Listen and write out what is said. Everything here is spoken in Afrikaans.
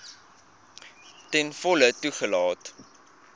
ten volle toegelaat